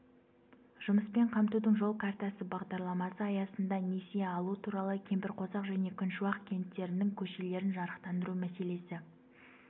жұмыспен қамтудың жол картасы бағдарламасы аясында несие алу туралы кемпірқосақ және күншуақ кенттерінің көшелерін жарықтандыру мәселесі